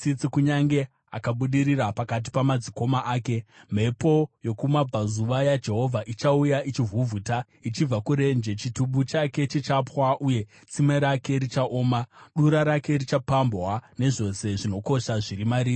kunyange akabudirira pakati pamadzikoma ake. Mhepo yokumabvazuva yaJehovha ichauya, ichivhuvhuta ichibva kurenje; chitubu chake chichapwa uye tsime rake richaoma. Dura rake richapambwa zvose zvinokosha zviri mariri.